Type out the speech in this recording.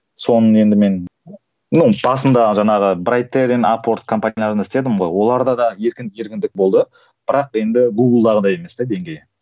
соның енді мен ну басында жаңағы брайтерен апорт компанияларында істедім ғой оларда да еркіндік болды бірақ енді гуглдағыдай емес те деңгейі